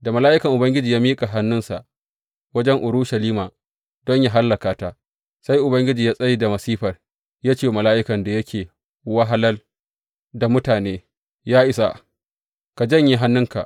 Da mala’ikan Ubangiji ya miƙa hannunsa wajen Urushalima, don yă hallaka ta, sai Ubangiji ya tsai da masifar, ya ce wa mala’ikan da yake wahal da mutane, Ya isa, ka janye hannunka.